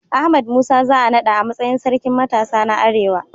Ahmad Musa za a naɗa a matsayin Sarkin Matasa na Arewa.